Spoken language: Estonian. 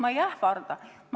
Ma ei ähvarda.